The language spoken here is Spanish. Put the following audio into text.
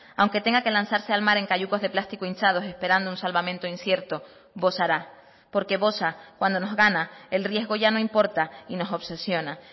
aunque tenga que lanzarse al mar en cayucos de plástico hinchados esperando un salvamento incierto bosará porque bosa cuando nos gana el riesgo ya no importa y nos obsesiona